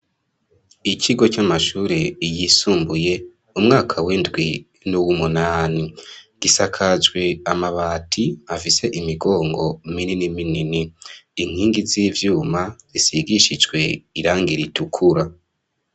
Ikigo camashure yisumbuye mu mwaka windwi nuwumunani bisakajwe amabati afise imigongo ibiri minini inkingi z'ivyuma zisigishijwe irangi ritukura.